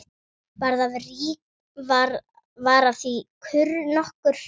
Varð af því kurr nokkur.